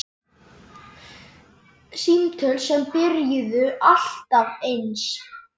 Símtöl sem byrjuðu alltaf eins.